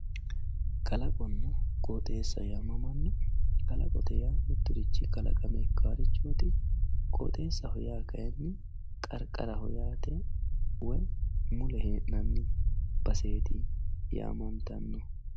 Kalaqonna qooxxeessa yaamamanno, kalaqote yaa miturichi kalaqame ikkanoreeti, qooxxeessaho yaa kayinni qariqaraho yaate woyi mule heenanni basseeti yaamantano